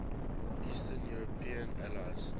eastern european allies